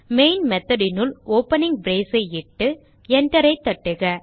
main method னுள் opening brace ஐ இட்டு Enter ஐ தட்டுக